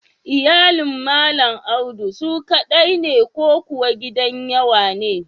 Iyalin Malam Audu su ƙaɗai ne ko kuwa gidan yawa ne?